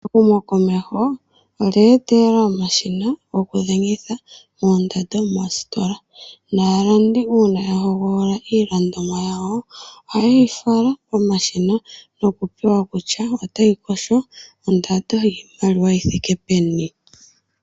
Ehumokomeho olye etelela omashina goku dhengitha oondando moositola. Naalandi uuna yahogolola iilandomwa yawo , ohaye yi fala komashina nokupewa kutya otayi kosho ondando yiimaliwa yithike peni.